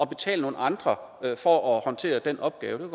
betale nogle andre for at håndtere den opgave